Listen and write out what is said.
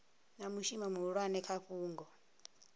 na mushumo muhulwane kha fhungo